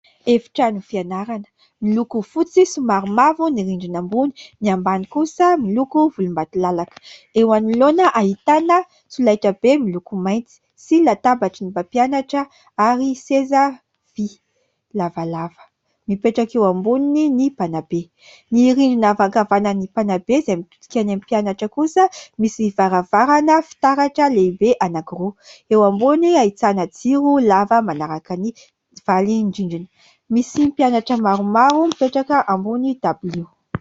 Efitrano fianarana miloko fotsy sy maromaro ny rindrina ambony ny ambany kosa miloko volombatolalaka. Eo anoloana ahitana solaitrabe miloko mainty sy latabatry ny mpampianatra ary seza vy lavalava mipetraka eo amboniny ny mpanabe. Ny rindrina avy ankavanan'ny mpanabe izay mitodika any amin'ny mpianatra kosa misy varavarana fitaratra lehibe anankiroa, eo ambony ahitana jiro lava manaraka ny valin-drindrina. Misy mpianatra maromaro mipetraka ambony dabilio.